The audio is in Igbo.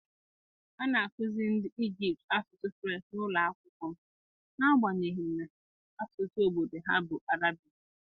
A na-akụziri ndị Ijipt asụsụ Frenchị n’ụlọ akwụkwọ m n’agbanyeghị na asụsụ obodo ha bụ Arabic.